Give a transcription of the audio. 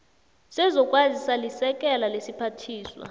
sezokwazisa lisekela lesiphathiswa